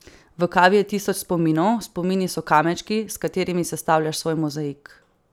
V kavi je tisoč spominov, spomini so kamenčki, s katerimi sestavljaš svoj mozaik.